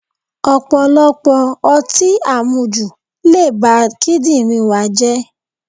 Ọ̀pọ̀lọpọ̀ ọtí àmujù le ba kídírìn wa jẹ́.